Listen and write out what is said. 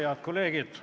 Head kolleegid!